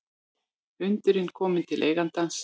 Hundurinn kominn til eigandans